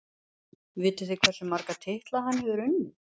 Vitið þið hversu marga titla hann hefur unnið?